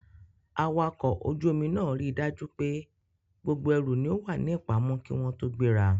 Awakọ̀ ojú omi náà ríi dájú pé gbogbo ẹrù ni ó wà ní ìpamọ́ kí wọ́n tó gbéra.